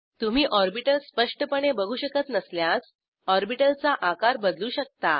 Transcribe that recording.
तुम्ही ऑर्बिटल स्पष्टपणे बघू शकत नसल्यास ऑर्बिटल चा आकार बदलू शकता